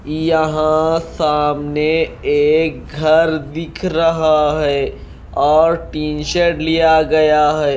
यहां सामने एक घर दिख रहा है और टी शर्ट लिया गया है।